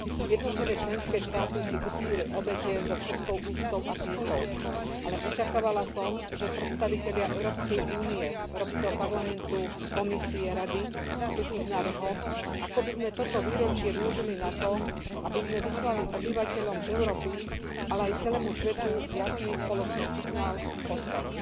Jednotlivé členské štáty si uctili obete so všetkou úctou a pietou, ale očakávala som, že predstavitelia Európskej únie, Európskeho parlamentu, Komisie, Rady prídu s návrhom, ako by sme toto výročie využili na to, aby sme vyslali obyvateľom Európy, ale aj celému svetu jasný spoločný signál, odkaz.